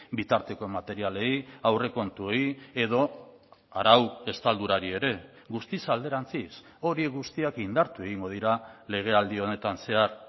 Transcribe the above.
bitarteko materialei aurrekontuei edo arau estaldurari ere guztiz alderantziz hori guztiak indartu egingo dira legealdi honetan zehar